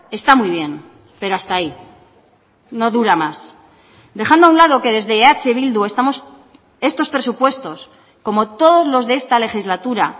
está muy bien pero hasta ahí no dura más dejando a un lado que desde eh bildu estamos estos presupuestos como todos los de esta legislatura